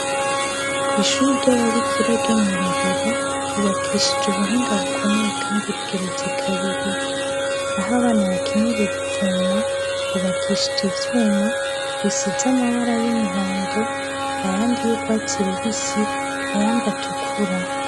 Kwishuri ry'ababikira ryo mwi Rohero hubakishije ubuhinga bukomeye kandi rigeretse kabiri, aho abana bakinira uruvuma hubakishije ivyuma bisize amabara y'umuhondo, ayandi y'urwatsi rubisi ayandi atukura.